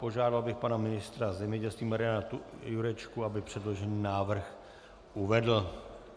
Požádal bych pana ministra zemědělství Mariana Jurečku, aby předložený návrh uvedl.